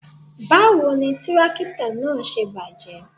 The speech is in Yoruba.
Báwo ni tírákítọ̀ náà ṣe bàjẹ́?